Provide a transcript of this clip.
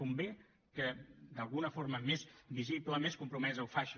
convé que d’alguna forma més visible més compromesa ho faci